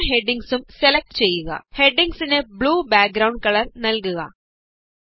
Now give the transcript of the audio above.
എല്ലാ ഹെഡിംഗ്സും സെലക്ട് ചെയ്യുക ഹെഡിംഗ്സിന് ബ്ലൂ ബാക്ഗ്രൌന്ഡ് കളര് നല്കുക